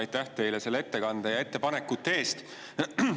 Aitäh teile selle ettekande ja ettepanekute eest!